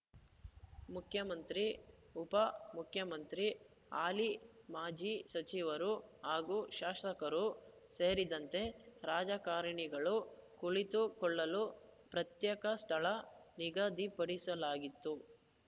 ಮುಖ್ಯಮಂತ್ರಿ ಉಪ ಮುಖ್ಯಮಂತ್ರಿ ಹಾಲಿ ಮಾಜಿ ಸಚಿವರು ಹಾಗೂ ಶಾಸಕರು ಸೇರಿದಂತೆ ರಾಜಕಾರಣಿಗಳು ಕುಳಿತುಕೊಳ್ಳಲು ಪ್ರತ್ಯೇಕ ಸ್ಥಳ ನಿಗದಿಪಡಿಸಲಾಗಿತ್ತು